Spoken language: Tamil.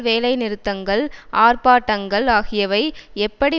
வேலைநிறுத்தங்கள் ஆர்ப்பாட்டங்கள் ஆகியவை எப்படி